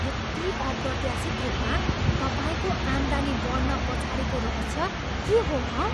यति अप्रत्याशित रूपमा तपाईँको आम्दानी बढ्न पछाडिको रहस्य के हो हँ?